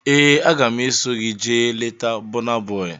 Ee, aga m eso gị jee leta Bọna Bọi